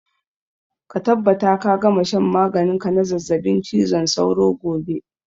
Ka tabbata ka gama shan maganin ka na zazzaɓin cizon sauro gobe!